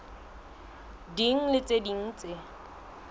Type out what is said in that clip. ding le tse ding tse